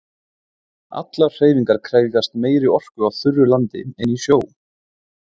Allar hreyfingar krefjast meiri orku á þurru landi en í sjó.